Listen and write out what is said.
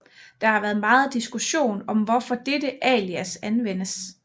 Der har været megen diskussion om hvorfor dette alias anvendes